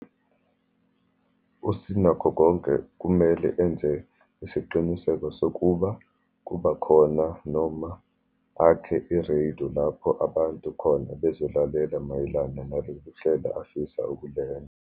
USinakhokonke kumele enze isiqiniseko sokuba kubakhona, noma akhe ireyido lapho abantu khona bezolalela mayelana naloluhlelo afisa ukulenza.